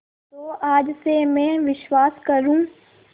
तो आज से मैं विश्वास करूँ